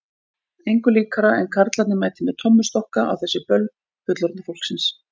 Engu líkara en karlarnir mæti með tommustokka á þessi böll fullorðna fólksins.